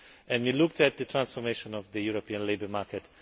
Together, we looked at the transformation of the European labour market.